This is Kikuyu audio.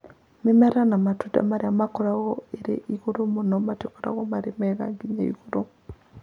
Mĩmera na matunda marĩa makoragwo irĩ igũrũ mũno matikoragwo marĩ mega. Gĩa igũrũ